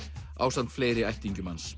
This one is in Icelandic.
ásamt fleiri ættingjum hans